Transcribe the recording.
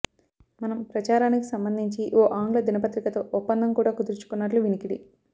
మనం ప్రచారానికి సంబంధించి ఓ ఆంగ్ల దినపత్రికతొ ఒప్పందం కూడా కుదుర్చుకున్నట్లు వినికిడి